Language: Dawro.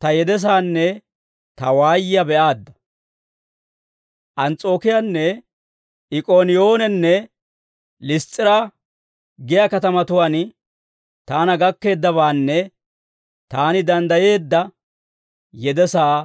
ta yedesaanne ta waayiyaa be'aadda. Ans's'ookiyaanne, Ik'ooniyoonenne Liss's'iraa giyaa katamatuwaan taana gakkeeddabaanne taani danddayeedda yedesaa